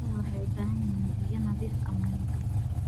Idaha waxay u baahan yihiin biyo nadiif ah maalin kasta.